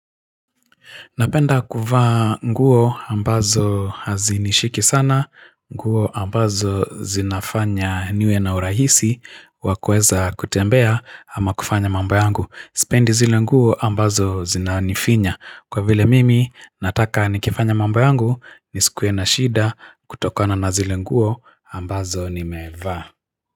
Napenda kuvaa nguo ambazo hazinishiki sana, nguo ambazo zinafanya niwe na urahisi wa kuweza kutembea ama kufanya mambo yangu. Sipendi zile nguo ambazo zinanifinya. Kwa vile mimi nataka nikifanya mambo yangu, nisikuwe na shida kutokana na zile nguo ambazo nimevaa.